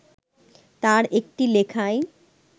তার একটি লেখায়